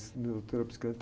Nessa psiquiátrica